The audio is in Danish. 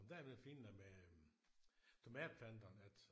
Men der er det fine med tomatplanterne at